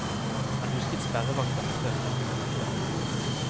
Han husket sperrevakta med føflekk under leppene.